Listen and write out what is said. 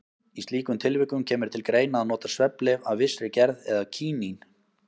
Í slíkum tilvikum kemur til greina að nota svefnlyf af vissri gerð eða kínín.